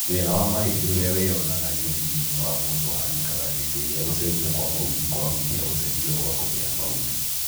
Thĩna wa mahĩndĩ ũrĩa wĩyonanagia ũnini-inĩ wa mũndũ ũhanĩkaga hĩndĩ ĩrĩa gũcenjia kwa maũthĩ kwahutia gũcenjia gwa kopĩ ya maũthĩ